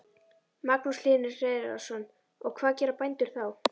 Magnús Hlynur Hreiðarsson: Og hvað gera bændur þá?